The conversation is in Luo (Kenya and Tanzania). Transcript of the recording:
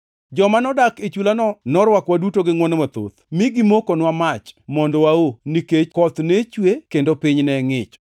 Joma nodak e chulano norwakowa duto gi ngʼwono mathoth, mi gimokonwa mach mondo wao, nikech koth ne chue kendo piny ne ngʼich.